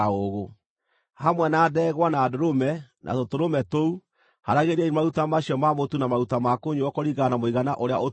Hamwe na ndegwa, na ndũrũme, na tũtũrũme tũu, haaragĩriai maruta macio ma mũtu na maruta ma kũnyuuo kũringana na mũigana ũrĩa ũtuĩtwo.